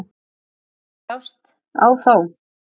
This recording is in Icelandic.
Mikil ást á þá.